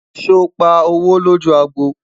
sọ pá owó loju àgbò?